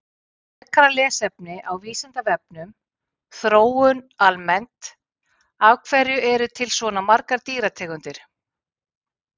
Frekara lesefni á Vísindavefnum Þróun almennt Af hverju eru til svona margar dýrategundir?